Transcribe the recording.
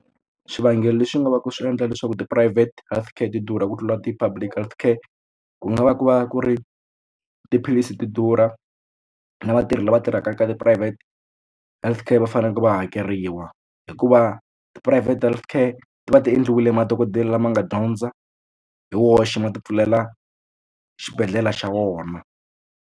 Swivangelo leswi nga va ku swi endla leswaku tiphurayivhete health care ti durha ku tlula ti-public health care ku nga va ku va ku ri tiphilisi ti durha na vatirhi lava tirhaka ka tiphurayivhete healthcare va faneleke va hakeriwa hikuva tiphurayivhete health care ti va ti endliwile madokodela lama nga dyondza hi woxe ma ti pfulela xibedhlele xa vona.